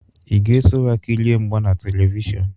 Ị ga-eso ha kirie mgba na Televishọnụ?